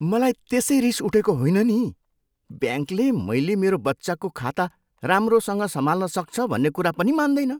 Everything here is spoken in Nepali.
मलाई त्यसै रिस उठेको होइन नि। ब्याङ्कले मैले मेरो बच्चाको खाता राम्रोसँग सम्हाल्न सक्छ भन्ने कुरा पनि मान्दैन।